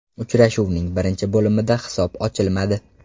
Uchrashuvning birinchi bo‘limida hisob ochilmadi.